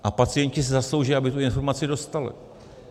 A pacienti si zaslouží, aby tu informaci dostali.